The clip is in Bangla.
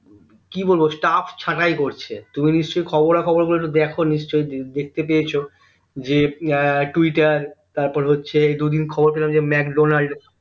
কি বলবো staff ছাটাই করছে তুমি নিশ্চই খবরা খবর গুলো একটু দেখো নিশ্চই দেখতে পেয়েছো যে এর twitter তারপর হচ্ছে দুদিন খবর পেলাম যে ম্যাকডোনাল্ড